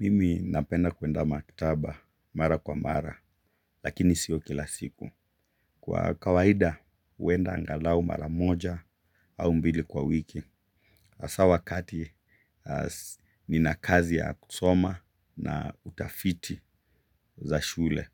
Mimi napenda kuenda maktaba mara kwa mara, lakini sio kila siku. Kwa kawaida, huenda angalau mara moja au mbili kwa wiki. Aswa wakati nina kazi ya kusoma na utafiti za shule.